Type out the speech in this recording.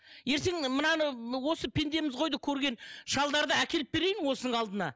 ертең мынаны осы пендеміз ғой ды көрген шалдарды әкеліп берейін осының алдына